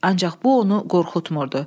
Ancaq bu onu qorxutmurdu.